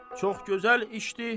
Çox gözəl işdir.